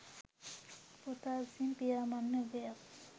පුතා විසින් පියා මරණ යුගයක්